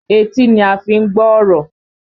Etí ni a fi ń gbọ́ ọ̀rọ̀